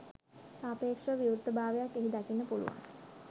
සාපේක්ෂව විවෘත භාවයක් එහි දකින්න පුළුවන්